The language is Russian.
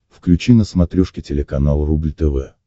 включи на смотрешке телеканал рубль тв